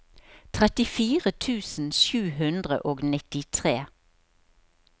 trettifire tusen sju hundre og nittitre